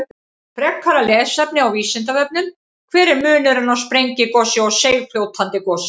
Frekara lesefni á Vísindavefnum: Hver er munurinn á sprengigosi og seigfljótandi gosi?